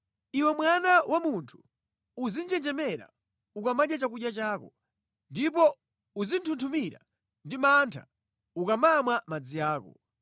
“Iwe mwana wa munthu, uzinjenjemera ukamadya chakudya chako, ndipo uzinthunthumira ndi mantha ukamamwa madzi ako.